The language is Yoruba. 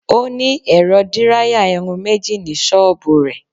Ó ní ẹ̀rọ díráyà irun méjì ní ṣọ́bùù rẹ̀.